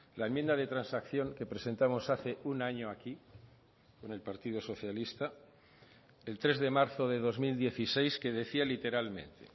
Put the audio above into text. la enmienda de transacción que presentamos hace un año aquí con el partido socialista el tres de marzo de dos mil dieciséis que decía literalmente